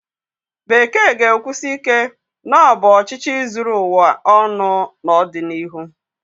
Bekee ga-ekwusi ike na ọ bụ ọchịchị zuru ụwa ọnụ n'ọdịnihu?